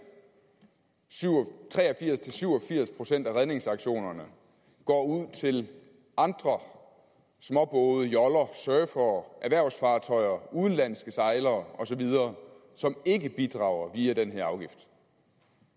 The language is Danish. tre og firs til syv og firs procent af redningsaktionerne går ud til andre småbåde joller surfere erhvervsfartøjer udenlandske sejlere osv som ikke bidrager via den her afgift